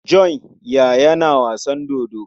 John ya yana wasan dodo.